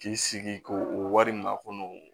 K'i sigi ko o wari ma kɔnɔ